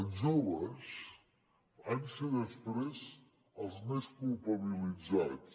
els joves van ser després els més culpabilitzats